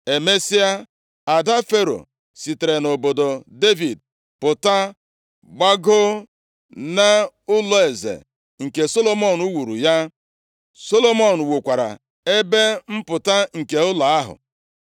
Emesịa, ada Fero sitere nʼobodo Devid pụta gbagoo nʼụlọeze nke Solomọn wuuru ya. Solomọn wukwara ebe mpụta nke ụlọ ahụ.